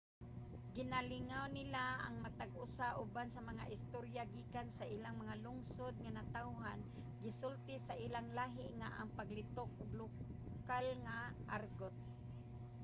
ginalingaw nila ang matag usa uban sa mga istorya gikan sa ilang mga lungsod nga natawhan gisulti sa ilang lahi nga mga paglitok ug lokal nga argot,